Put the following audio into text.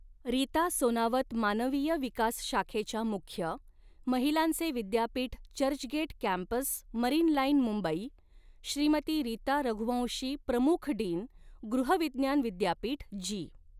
रीता सोनावत मानविय विकास शाखेच्या मुख्य महिलांचे विद्यापीठ चर्चगेट कॅम्पस मरीन लाईन मुंबइ श्रीमती रीता रघुवंशी प्रमुख डीन गृह विज्ञान विद्यापिठ जी.